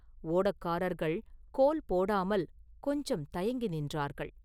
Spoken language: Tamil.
ஓடக்காரர்கள் கோல் போடாமல் கொஞ்சம் தயங்கி நின்றார்கள்.